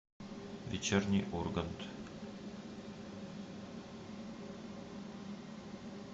вечерний ургант